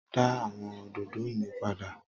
da awọn ododo mi pada!